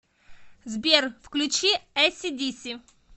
сбер включи эси диси